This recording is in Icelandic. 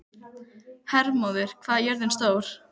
Hermóður, hvað er jörðin stór?